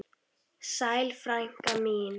Sæl frænka mín.